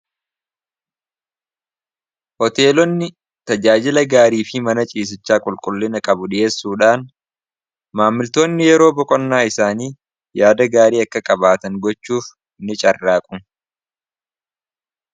Hoteelonni tajaajila gaarii fi mana ciisichaa qulqullina qabu dhi'eessuudhaan, maammiltoonni yeroo boqonnaa isaanii yaada gaarii akka qabaatan gochuuf ni carraaqu.